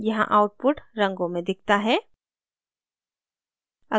यहाँ output रंगों में दिखता है